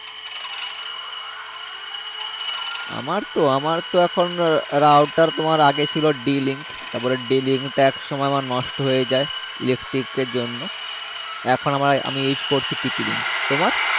আমার তো আমার তো এখন router তোমার আগে ছিল d link তারপরে d link টা একসময় আমার নষ্ট হয়ে যায় electric এর জন্য এখন আমার আমি use করছি tp link তোমার